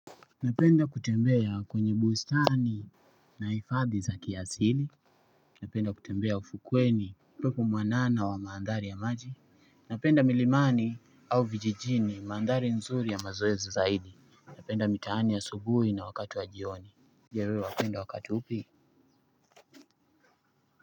Napenda kutembea kwenye bustani. Na hifadhi za kiasili. Napenda kutembea ufukweni upepo mwanana wa maandhari ya maji. Napenda milimani au vijijini maandhari nzuri ya mazoezi zaidi. Napenda mitaani asubuhi na wakati wa jioni je wewe wapenda wakati upi.